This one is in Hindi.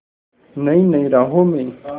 नई नई राहों में